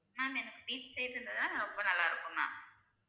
Ma'am எனக்கு beach side இருந்தா தா ரொம்ப நல்லா இருக்கும்